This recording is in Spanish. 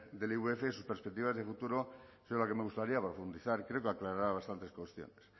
del ivf y sus perspectivas de futuro de las que me gustaría profundizar creo que aclarará bastantes cuestiones